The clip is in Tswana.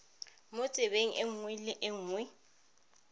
mo tsebeng nngwe le nngwe